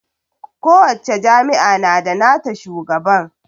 kowacce jami'a na da nata shugaban